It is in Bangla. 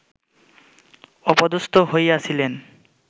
অপদস্থ হইয়াছিলেন